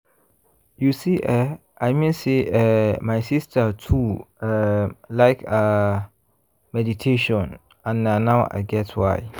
you see eh i mean say eeh my sister too um like ah um meditation and na now i get why.